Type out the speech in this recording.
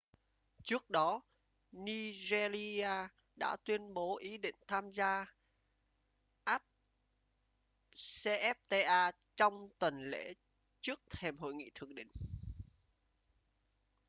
trước đó nigeria đã tuyên bố ý định tham gia afcfta trong tuần lễ trước thềm hội nghị thượng đỉnh